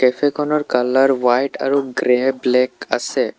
Cafe খনৰ colour white আৰু grey black আছে।